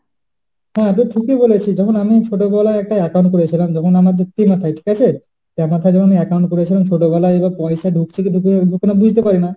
হ্যাঁ তো ঠিকই বলেছিস যেমন আমি ছোটবেলায় একটা account খুলেছিলাম তখন আমাদের ঠিক আছে, তারপর যখন account করেছিলাম ছোটবেলায় তখন পয়সা ডুকছে কি ঢুকছে না বুঝতে পারি না